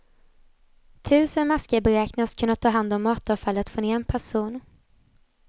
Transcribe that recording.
Tusen maskar beräknas kunna ta hand om matavfallet från en person.